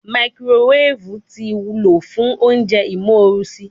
Makirowefu ti lo fun ounjẹ imorusi